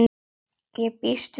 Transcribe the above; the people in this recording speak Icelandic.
Ég býst við því.